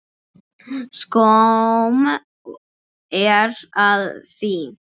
Skömm er að því.